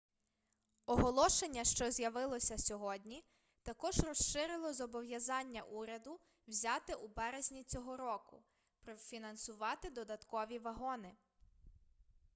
оголошення що з'явилося сьогодні також розширило зобов'язання уряду взяте у березні цього року профінансувати додаткові вагони